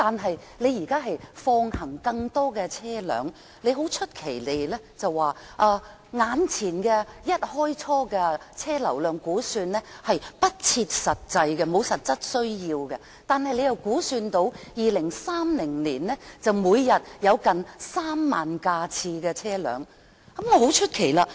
政府現在放行更多車輛使用大橋，一開始便作出不切實際的車輛流量估算，但同時又估算2030年每天約有3萬架次的車輛行經大橋。